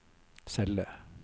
celle